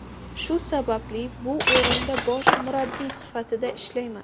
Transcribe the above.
Shu sababli bu o‘rinda bosh murabbiy sifatida ishlayman.